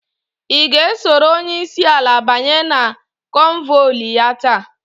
I ga esoro onyeisi ala banye na konvoili ya taa?